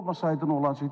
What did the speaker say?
Olmasaydı nə olacaqdı?